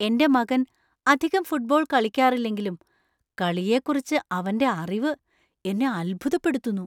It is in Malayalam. എന്‍റെ മകൻ അധികം ഫുട്ബോൾ കളിക്കാറില്ലെങ്കിലും കളിയെക്കുറിച്ച് അവന്‍റെ അറിവ് എന്നെ അത്ഭുതപ്പെടുത്തുന്നു.